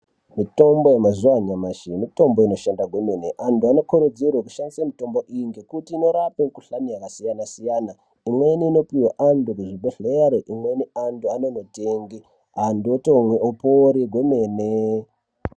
Mitombo yemazuwa anyamashi mitombo inoshanda kwemene, andu anokurudzirwa kushandisa mitombo iyi ngokuti inorapa ngohlani yakasiyana siyana imweni inopihwa andu bhohleyari imweni andu anondotenge andu otomwe opore kwemene.